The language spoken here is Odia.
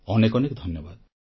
ଅନେକ ଅନେକ ଧନ୍ୟବାଦ